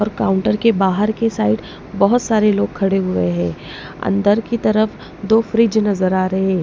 और काउंटर के बाहर के साइड बहुत सारे लोग खड़े हुए हैं अंदर की तरफ दो फ्रिज नजर आ रहे हैं।